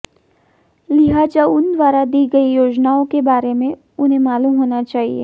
लिहाजा उन द्वारा दी गई योजनाओं के बारे में उन्हें मालूम होना चाहिए